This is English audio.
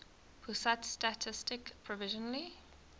pusat statistik provisionally